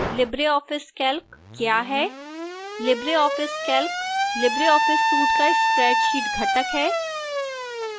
libreoffice calc क्या है